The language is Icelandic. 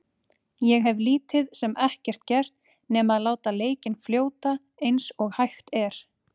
Ég hef lítið sem ekkert gert nema að láta leikinn fljóta eins og hægt er.